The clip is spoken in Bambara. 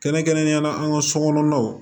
Kɛrɛnkɛrɛnnenyala an ka sokɔnɔnaw